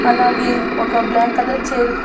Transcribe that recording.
అలాగే ఒక black colour చేరు--